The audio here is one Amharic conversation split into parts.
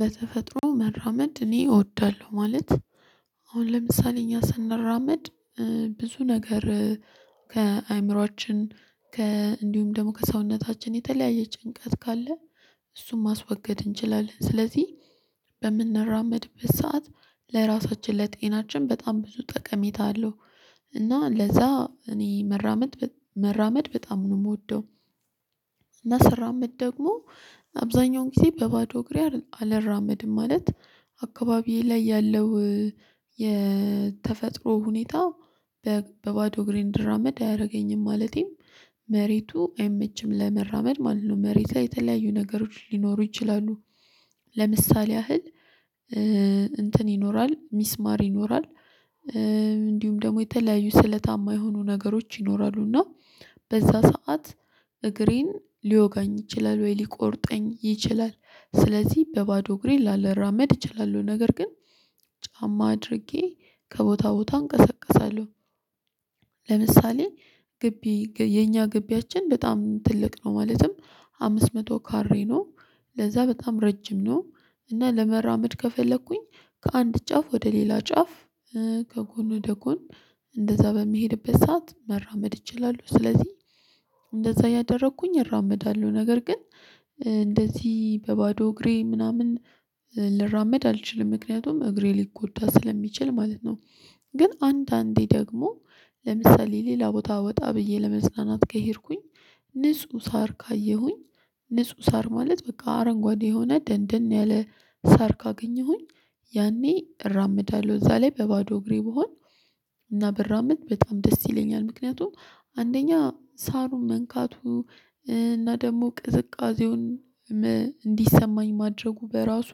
በተፈጥሮ መራመድ እኔ እወዳለሁ ማለት አሁን ለምሳሌ እኛ ስናራመድ ብዙ ነገር ከአእምሮአችን ከእንዲሁም ደግሞ ከሰውነታችን የተለያየ ጭንቀት ካለ እሱን ማስወገድ እንችላለን ስለዚህ በምንራመድበት ሰዓት ለራሳችን ለጤናችን በጣም ብዙ ጠቀሜታ አለው። እና ለዛ እኔ መራመድ መራመድ በጣም ነው የምወደው እና ስራም እድ ደግሞ አብዛኛውን ጊዜ በባዶ እግሬ አላራመድም ማለት አካባቢዬ ላይ ያለው የተፈጥሮ ሁኔታ በባዶ እግሬ እንድራመድ አያደርገኝም ማለቴም መሬቱ አይመችም ለመራመድ ማለት ነው መሬት ላይ የተለያዩ ነገሮች ሊኖሩ ይችላሉ። ለምሳሌ ያህል:- እንትን ይኖራል ሚስማር ይኖራል እንዲሁም ደግሞ የተለያዩ ስለታማ የሆኑ ነገሮች ይኖራሉ እና በዛ ሰዓት እግሬን ሊወጋኝ ይችላል ወይ ሊቆርጠኝ ይችላል ስለዚህ በባዶ እግሬ ላለራመድ እችላለሁ ነገር ግን ጫማ አድርጌ ከቦታ ቦታ እንቀሰቀሳለሁ። ለምሳሌ:- ግቢ የኛ ግቢያችን በጣም ትልቅ ነው ማለትም አምስት መቶ ከሬ ነው ለዛ በጣም ረጅም ነው እና ለመራመድ ከፈለኩኝ ከአንድ ጫፍ ወደ ሌላ ጫፍ ከጎን ወደ ጎን እንደዛ በሚሄድበት ሰዓት መራመድ እችላለሁ ስለዚህ እያደረኩኝ እራመዳለሁ ነገር ግን እንደዚህ በባዶ እግሬ ምናምን ልራመድ አልችልም ምክንያቱም እግሬ ሊጎዳ ስለሚችል ማለት ነው። ግን አንዳንዴ ደግሞ ለምሳሌ:- ሌላ ቦታ ወጣ ብዬ ለመጽናናት ከሄድኩኝ ንጹህ ሳር ካየሁኝ ንጹህ ሳር ማለት በቃ አረንጓዴ የሆነ ደንደን ያለ ሳር ካገኘሁኝ ያኔ እራምዳለሁ እዛ ላይ በባዶ እግሬ ብሆን እና በራምንት በጣም ደስ ይለኛል ምክንያቱም አንደኛ ሳሩን መንካቱ እና ደግሞ ቅዝቃዜውን እንዲሰማኝ ማድረጉ በራሱ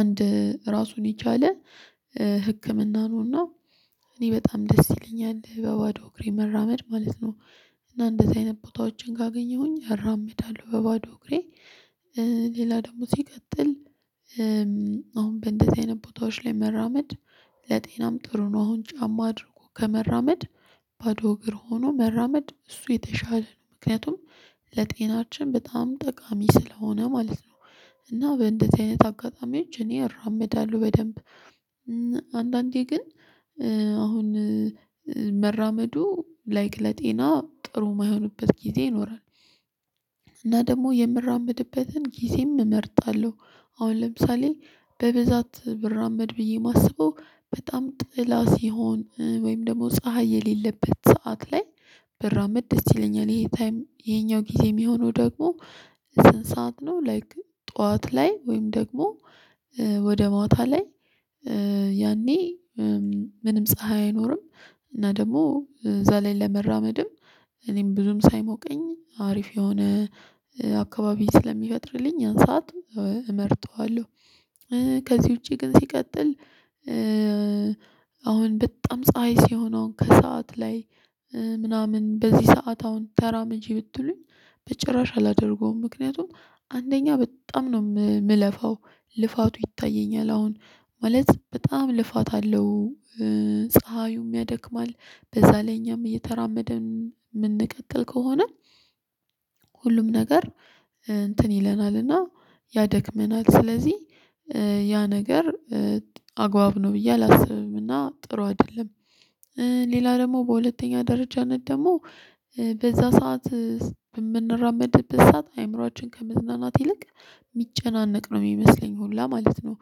አንድ ራሱን የቻለ ህክምና ነውና እኔ በጣም ደስ ይለኛል በባዶ እግሬ መራመድ ማለት ነው። እና እንደዚህ አይነት ቦታዎችን ጋር አገኘሁኝ እራመዳለሁ በባዶ እግሬ ሌላ ደግሞ ሲቀጥል አሁን በእንደዚህ አይነት ቦታዎች ላይ መራመድ ለጤናም ጥሩ ነው አሁን ጫማ አድርጎ ከመራመድ ባዶ እግር ሆኖ መራመድ እሱ የተሻለ ምክንያቱም ለጤናችን በጣም ጠቃሚ ስለሆነ ማለት ነው። እና በእንደዚህ አይነት አጋጣሚዎች እኔ እራመዳለሁ በደንብ። አንዳንዴ ግን አሁን መራመዱ ላይክ ለጤና ጥሩ የማይሆንበት ጊዜ ይኖራል እና ደግሞ የምራመድበትን ጊዜም እመርጣለሁ አሁን ለምሳሌ በብዛት ብራመድ ብዬ የማስበው በጣም ጥላ ሲሆን ወይም ደግሞ ፀሀይ የሌለበት ሰዓት ላይ ብራመድ ደስ ይለኛል ይሄኛው ታይም የኛው ጊዜ የሚሆነው ደግሞ ስንት ሰዓት ነው ላይክ ጠዋት ላይ ወይም ደግሞ ወደ ማታ ላይ ያኔ ምንም ፀሀይ አይኖርም እና ደግሞ እዛ ላይ ለመራመድም እኔም ብዙም ሳይሞቀኝ አሪፍ የሆነ አካባቢ ስለሚፈጥርልኝ ያን ሰዓት እመርጠዋለሁ ከዚህ ውጪ ግን ሲቀጥል አሁን በጣም ፀሀይ ሲሆነውን ከሰአት ላይ ምናምን በዚህ ሰዓት አሁን ተራመጂ ብትሉኝ በጭራሽ አላደርገውም ምክንያቱም አንደኛ በጣም ነው የምለፋው ልፋቱ ይታየኛል አሁን ማለት በጣም ልፋት አለው። ፀሀዩም ያደክማል በዛ ላይ እኛም እየተራመደ የምንቀጥል ከሆነ ሁሉም ነገር እንትን ይለናልና ያደክመናል ስለዚህ ያ ነገር አግባብ ነው ብዬ አላስብምና ጥሩ አይደለም። ሌላ ደግሞ በሁለተኛ ደረጃነት ደግሞ በዛ ሰዓት የምንራመድበት ሰዓት አይምሮአችን ከመዝናናት ይልቅ የሚጨናነቅ ነው የሚመስለኝ ሁላ ማለት ነው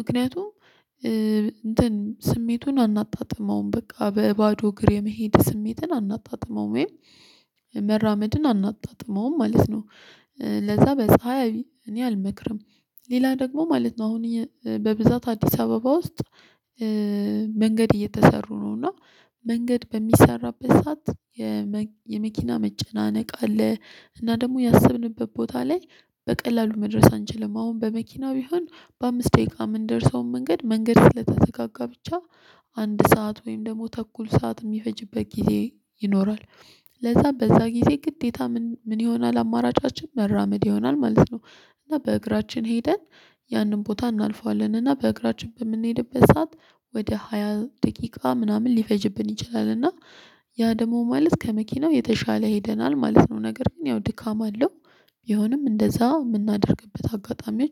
ምክንያቱም እንትን ስሜቱን አናጣጥመውም በቃ በባዶ እግር የመሄድ ስሜትን አናጣጥመውም ወይም መራመድን አናጣጥመውም ማለት ነው ለዛ በፀሀይ እኔ አልመክርም ሌላ ደግሞ ማለት ነው አሁን በብዛት አዲስ አበባ ውስጥ መንገድ እየተሰሩ ነው እና መንገድ በሚሰራበት ሰዓት የመኪና መጨናነቅ አለ እና ደግሞ ያሰብንበት ቦታ ላይ በቀላሉ መድረስ አንችልም በመኪናው ይሁን በአምስት ደቂቃ የምንደርሰውን መንገድ መንገድ ስለተዘጋጋ ብቻ አንድ ሰዓት ወይም ደግሞ ተኩል ሰዓት የሚፈጅበት ጊዜ ይኖራል። ለዛ በዛ ጊዜ ግዴታ ምን ምን ይሆናል አማራጫችን መራመድ ይሆናል ማለት ነው እና በእግራችን ሄደን ያንን ቦታ እናልፈዋለን እና በእግራችን በምንሄድበት ሰዓት ወደ ሃያ ደቂቃ ምናምን ሊፈጅብን ይችላል እና ያ ደግሞ ማለት ከመኪናው የተሻለ ሄደናል ማለት ነው ነገር ግን ያው ድካም አለው ቢሆንም እንደዛ የምናደርግበት አጋጣሚዎች